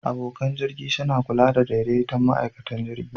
Abokan jirgi suna kulawa da daidaitan ma'aikatan jirgin.